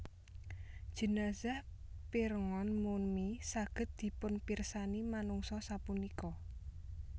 Jenazah Pirngon Mumi saged dipunpirsani manungsa sapunika